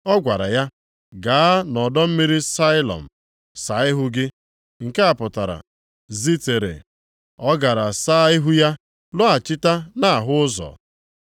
Ọ gwara ya, “Gaa nʼọdọ mmiri Sailọm saa ihu gị” (nke a pụtara “Zitere”). Ọ gara saa ihu ya, lọghachita na-ahụ ụzọ.